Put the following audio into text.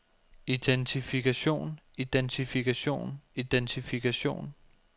identifikation identifikation identifikation